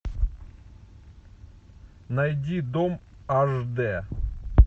найди дом аш д